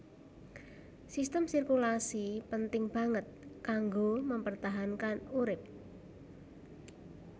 Sistem sirkulasi penting banget kanggo mempertahankan urip